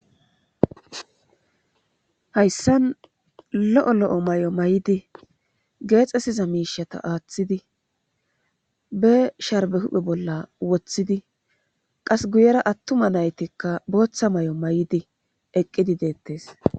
hayssan lo7o lo7o may7o may7idi geexesiza miishata aaththidi be sharbe huphe bolla woththidi qas guyera attuma naytikka booththa may7o may7di eqqidi deettes